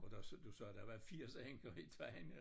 Og der du sagde der var 80 enker i Tejn